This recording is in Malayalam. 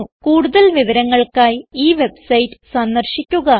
കൂടുതൽ വിവരങ്ങൾക്കായി ഈ വെബ്സൈറ്റ് സന്ദർശിക്കുക